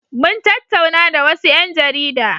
Mun tattauna da wasu ƴan jarida.